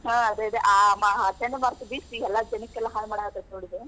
ಹಾ ಅದೇ ಅದೇ ಆ ಆ ಚಂಡಮಾರುತ ಬೀಸಿ ಎಲ್ಲಾ ಜನಕ್ಕೆಲ್ಲಾ ಹಾಳ್ ಮಾಡತೇತಿ ನೋಡ್?